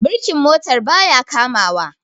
birkin motar ba ya kamawa